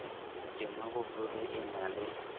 tema boholo e na le